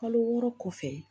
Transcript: Kalo wɔɔrɔ kɔfɛ